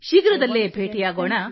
ಶೀಘ್ರದಲ್ಲೇ ಭೇಟಿಯಾಗೋಣ